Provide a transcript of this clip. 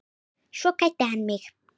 Svo kvaddi hann mig.